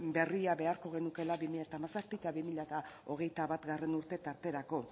berria beharko genukeela bi mila hamazazpi eta bi mila hogeita batgarrena urte tarterako